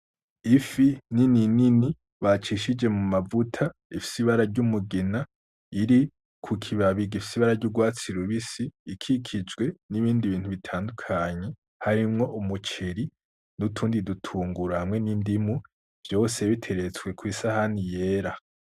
Ifi nini nini bacishije mu mavuta, ifise ibara ry'umugina, iri ku kibabi gifise ibara ry'urwatsi rubisi, ikikijwe n'ibindi bintu bitandukanye, harimwo umuceri n'utundi dutunguru, hamwe n'indimu, vyose biteretswe kw'isahani yera.